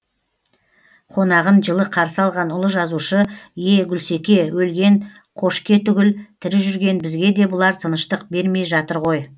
қонағын жылы қарсы алған ұлы жазушы е гүлсеке өлген қошке түгіл тірі жүрген бізге де бұлар тыныштық бермей жатыр ғой